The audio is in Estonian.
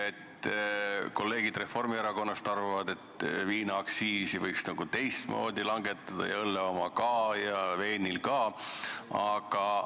Kolleegid Reformierakonnast arvavad, et viinaaktsiisi võiks teistmoodi langetada ja õlle ja veini oma ka.